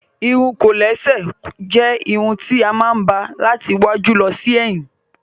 Ìrún kòlẹ̀sè jẹ́ ìrún tí a máa ń ba láti ìwájú lọ sí èyìn.